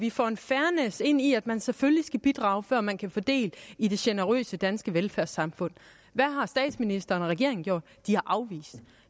vi får en fairness ind i at man selvfølgelig skal bidrage før man kan få del i det generøse danske velfærdssamfund hvad har statsministeren og regeringen gjort de har afvist